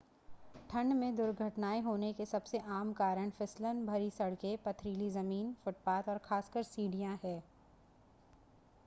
ठंड में दुर्घटनाएँ होने के सबसे आम कारण फिसलन भरी सड़कें पथरीली ज़मीन फ़ुटपाथ और ख़ासकर सीढ़ियाँ हैं